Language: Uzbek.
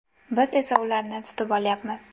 Biz esa ularni tutib olyapmiz.